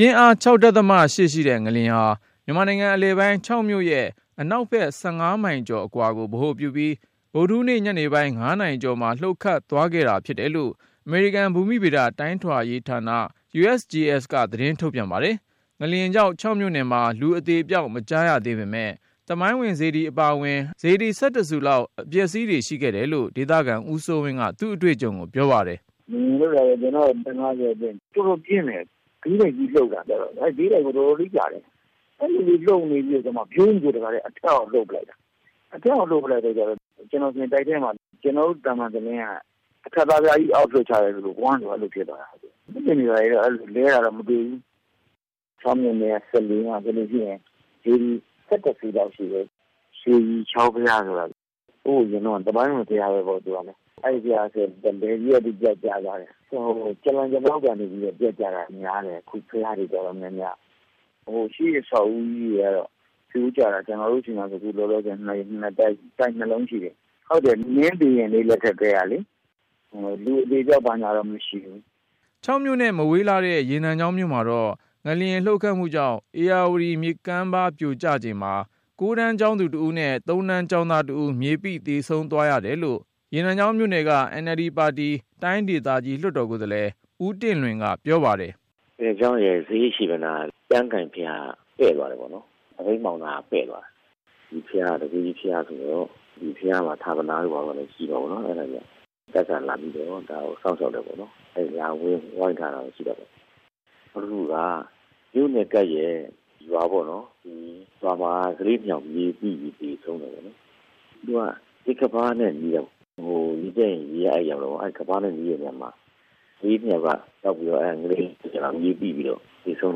ပြင်းအား ၆.၈ ရှိတဲ့ငလျှင်ဟာ မြန်မာနိုင်ငံအလယ်ပိုင်း ချောက်မြို့ရဲ့အနောက်ဘက် ၁၅ မိုင်ကျော်အကွာကို ဗဟိုပြုပြီး ဗုဒ္ဓဟူးနေ့ ညနေပိုင်း ၅ နာရီကျော်မှာ လှုပ်ခတ်သွားခဲ့တာ ဖြစ်တယ်လို့ အမေရိကန် ဘူမိဗေဒတိုင်းတာရေးဌာန USGS က သတင်းထုတ်ပြန်ပါတယ်။ ငလျှင်ကြောင့် ချောက်မြို့နယ်မှာ လူအသေအပျောက် မကြားရသေးပေမဲ့ သမိုင်းဝင်စေတီ အပါအဝင် အနည်းဆုံး စေတီ ၁၁ ဆူလောက် အပျက်အစီးတွေ ရှိခဲ့တယ်လို့ ဒေသခံ ဦးစိုးဝင်းက သူ့အတွေ့အကြုံကို ပြောပါတယ်။ “ငလျှင်လှုပ်တာ ကျနော့်အသက် ၅၀ အတွင်း တော်တော်ပြင်းတယ်၊ ဘေးတိုက်ကြီးလှုပ်တာ အဲဒီဘေးတိုက်ကို တော်တော်လေး ကြာတယ်။ အဲလိုလေး လှုပ်နေပြီးကျမှ ဗြုန်းဆို တခါတည်း အထက်အောက် လှုပ်ပစ်လိုက်တာ။ အထက်အောက်လှုပ်နေချိန် ကျနော်ဆို တိုက်ထဲမှာ ကျနော်တို့ သံမံတလင်းက အထပ်သားပြားကြီး အောက်လွှတ်ချလိုက်သလို ဂွမ်းဆို အဲလိုဖြစ်သွားတာ။ သစ်ပင်တွေ ဘာတွေတော့ လဲတာ မျိုးတော့ မတွေ့ဘူး။ ချောက်မြို့နယ်က စလေမှာဆိုလို့ရှိရင် စေတီ ၁၁ ဆူလောက်ရှိတယ်။ ရွှေဖြူချောင်းဘုရားဆိုတာ ဟိုးအရင်က သမိုင်းဝင် ဘုရားပေါ့ အဲဒီဘုရားဆိုရင် လည်စည်းကနေ ပြတ်ကျသွားတယ်။ ဟို ကြာလှန်ကြာမှောက်ကနေ ပြတ်ကျတာများတယ်။ ခု ဘုရားတွေ တော်တော်များများက ဟို ရှေးအဆောက်အဦးကြီး တွေကတော့ ပြိုကျတာ ကျနော်တို့ဆီမှာဆို ခုလောလောဆယ် တိုက်နှစ်လုံးရှိတယ်။ ဟုတ်တယ် မင်းဘုရင်တွေ လက်ထက်ကတည်းကလေ။ လူအသေအပျောက် ဘာညာတော့ မရှိဘူး” ချောက်မြို့နဲ့ မဝေးလှတဲ့ ရေနံချောင်းမြို့မှာတော့ ငလျှင်လှုပ်ခတ်မှုကြောင့် ဧရာဝတီမြစ်ကမ်းပါး ပြိုကျချိန်မှာ ၉ တန်း ကျောင်းသူတဦးနဲ့ ၃ တန်း ကျောင်းသားတဦး မြေပိသေဆုံးသွားရတယ်လို့ ရေနံချောင်းမြို့နယ်က NLD ပါတီ တိုင်းဒေသကြီး လွှတ်တော်ကိုယ်စားလှယ် ဦးတင့်လွင်က ပြောပါတယ်။ “ရေနံချောင်းရဲ့ ဈေးအရှေ့ဘက်နားက ကျမ်းကိုင်ဘုရားက ပဲ့သွားတယ်ပေါ့နော်၊ သပိတ်မှောက်နားက ပဲ့သွားတယ်။ ဒီဘုရားက တန်ခိုးကြီး ဘုရားဆိုတော့ ဒီဘုရားမှာ ဌာပနာတို့ဘာတို့ ရှိတာပေါ့နော်။ အဲဒါကြောင့် တပ်ကလာပြီးတော့ ဒါကို စောင့်ရှောင့်တယ်ပေါ့။ လာပြီး ဝိုင်းထားတာ ရှိတာပေါ့။ နောက်တခုက မြို့နဲ့ကပ်လျှက် ရွာပေါ့နော်။ အဲဒီရွာမှာ ကလေးနှစ်ယောက် မြေပိ သေဆုံးတယ်ပေါ့နော်။ သူက မြစ်ကမ်းပါးနဲ့ နီးတာကိုး၊ ဟို ရေတက်ရင် ရေက အဲဒီကို ရောက်တာကိုး။ အဲဒီ ကမ်းပါးနဲ့ နီးတဲ့နေရာမှာ ကလေးနှစ်ယောက်က ငလျင်လှုပ်တော့ မြေပိပြီး သေဆုံး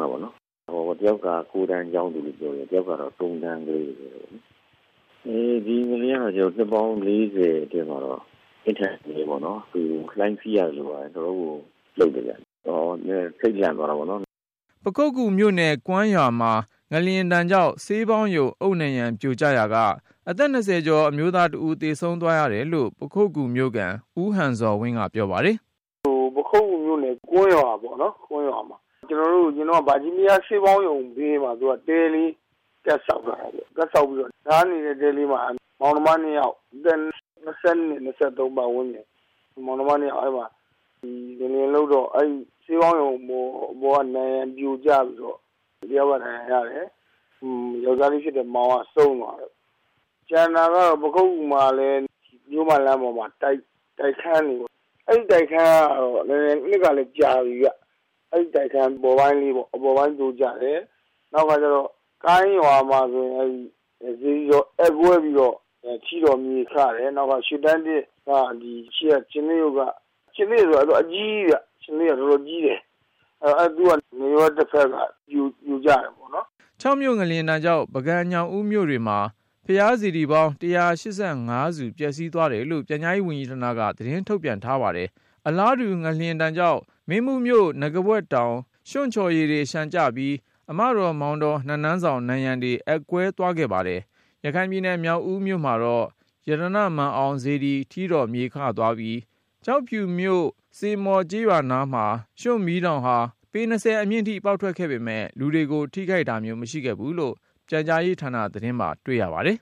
တာပေါ့နော်။ တယောက်က ၉ တန်းကျောင်းသူလို့ပြောတယ်။ နောက်တယောက်က ၃ တန်းကလေး။ ဒီငလျင်ကတော့ နှစ်ပေါင်း ၄၀ အတွင်းမှာတော့ အပြင်းထန်ဆုံးပေါ့နော်။ လှိုင်းစီးနေရသလိုပါပဲ။ တော်တော်လေးကို လှုပ်တော့ ထိပ်လန့်သွားတယ်ပေါ့နော်။” ပခုက္ကူမြို့နယ် ကွမ်းရွာမှာ ငလျှင်ဒဏ်ကြောင့် ဆေးပေါင်းရုံ အုတ်နံရံပြိုကျရာက အသက် ၂၀ ကျော် အမျိုးသားတဦး သေဆုံးသွားရတယ်လို့ ပခုက္ကူမြို့ခံ ဦးဟန်ဇော်ဝင်းက ပြောပါတယ်။ “ပခုက္ကူမြို့နယ် ကွမ်းရွာမှာပေါ့နော် အရင်က ဗာဂျီးနီးယားဆေးပေါင်းရုံဘေးမှာ သူက တဲလေးကပ်ဆောက်ထားတာ။ အဲဒီတဲလေးမှာ မောင်နှမနှစ်ယောက် အသက် ၂၂၊ ၂၃ ပတ်ဝန်းကျင်ပေါ့ မောင်နှမ ၂ ယောက် အဲဒီမှာ ငလျင်လှုပ်တော့ ဆေးပေါင်းရုံအပေါ်က နံရံပြိုကျပြီးတော့ တယောက်က ဒဏ်ရာရတယ်။ ယောကျာ်းလေးဖြစ်တဲ့ မောင်က ဆုံးသွားတယ်ပေါ့။ ကျန်တာကတော့ ပခုက္ကူမှာလည်း မြို့မလမ်းပေါ်မှာ တိုက်ခန်းပေါ့ အဲဒီတိုက်ခန်းကလည်း နှစ်က ကြာပြီဗျ အဲဒီတိုက်ခန်း အပေါ်ပိုင်းလေး ပြိုကျတယ်။ နောက်တခါ ကိုင်းရွာမှာဆိုရင် စေတီတော် အက်ကွဲပြီးတော့ ထီတော် မြေခတယ်။ ပြီးတော့ ခြင်္သေ့ရုပ်က တော်တော်ကြီးတယ်။ ငလျင်လှုပ်တော့ နားရွက်တဘက် ပြိုကျတယ်ပေါ့နော်။” ချောက်မြို့ ငလျှင်ဒဏ်ကြောင့် ပုဂံညောင်ဦးမြို့တွေမှာ ဘုရားစေတီပေါင်း ၁၈၅ ဆူ ပျက်စီးသွားတယ်လို့ ပြန်ကြားရေးဝန်ကြီးဌာနက သတင်းထုတ်ပြန်ထားပါတယ်။ အလားတူ ငလျှင်ကြောင့် မင်းဘူးမြို့ နဂါးပွက်တောင် ရွံ့ချော်ရည်တွေလျှံကျပြီး အမတော်၊ မောင်တော်နတ်နန်းဆောင် နံရံတွေ အက်ကွဲသွားခဲ့ပါတယ်။ ရခိုင်ပြည်နယ် မြောက်ဦးမြို့မှာတော့ ရတနာ့မာန်အောင် စေတီထီးတော်မြေခသွားပြီး၊ ကျောက်ဖြူမြို့ စေမော်ကျေးရွာနားမှာ ရွှံ့မီးတောင်ဟာ ပေ ၂၀ အမြင့်ထိ ပေါက်ထွက်ခဲ့ပေမဲ့ လူတွေကို ထိခိုက်တာမျိုး မရှိခဲ့ဘူးလို့ ပြန်ကြားရေးဌာနသတင်းမှာ တွေ့ရပါတယ်